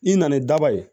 I nana ni daba ye